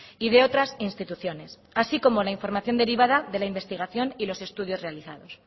y de otras instituciones así como la información derivada de la investigación y los estudios realizados